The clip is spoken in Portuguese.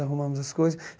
Arrumamos as coisas.